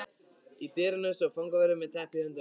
Í dyrunum stóð fangavörður með teppi í höndunum.